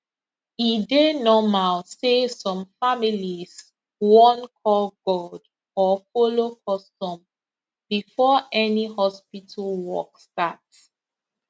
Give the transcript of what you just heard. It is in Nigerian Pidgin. e dey normal say some families wan call god or follow custom before any hospital work start